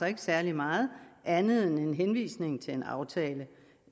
ikke særlig meget andet end en henvisning til en aftale